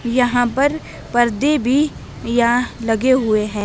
यहां पर पर्दे भी या लगे हुए हैं।